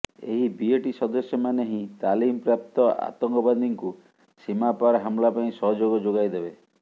ଏହି ବିଏଟି ସଦସ୍ୟମାନେ ହିଁ ତାଲିମପ୍ରାପ୍ତ ଆତଙ୍କବାଦୀଙ୍କୁ ସୀମାପାର ହମ୍ଲା ପାଇଁ ସହଯୋଗ ଯୋଗାଇ ଦେବେ